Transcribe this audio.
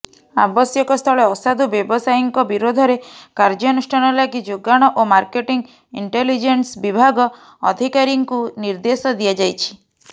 ଆବଶ୍ୟକସ୍ଥଳେ ଅସାଧୁ ବ୍ୟବସାୟୀଙ୍କ ବିରୋଧରେ କାର୍ଯ୍ୟାନୁଷ୍ଠାନ ଲାଗି ଯୋଗାଣ ଓ ମାର୍କେଟିଂ ଇଣ୍ଟେଲିଜେନ୍ସ ବିଭାଗ ଅଧିକାରୀଙ୍କୁ ନିର୍ଦ୍ଦେଶ ଦିଆଯାଇଛି